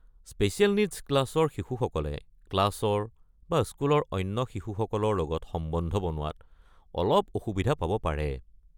Special needs ক্লাছৰ শিশুসকলে ক্লাছৰ বা স্কুলৰ অন্য শিশুসকলৰ লগত সম্বন্ধ বনোৱাত অলপ অসুবিধা পাব পাৰে।